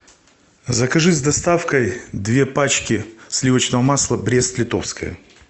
закажи с доставкой две пачки сливочного масла брест литовское